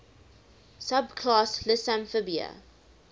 subclass lissamphibia